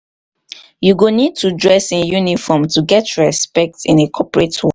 you go need to dress in uniform to get respect in a corporate wo.